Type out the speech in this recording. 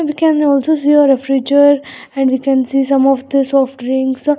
We can also see a refriger and we can see some of the soft drinks a --